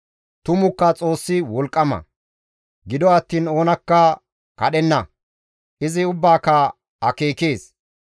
«Tumukka Xoossi wolqqama; gido attiin oonakka kadhenna; izi ubbaaka akeekees.